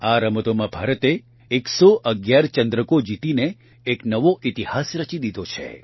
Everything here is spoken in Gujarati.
આ રમતોમાં ભારતે ૧૧૧ ચંદ્રકો જીતીને એક નવો ઇતિહાસ રચી દીધો છે